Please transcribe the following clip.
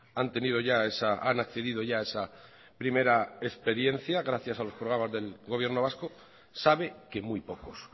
han tenido ya esa han accedido ya a esa primera experiencia gracias a los programas del gobierno vasco sabe que muy pocos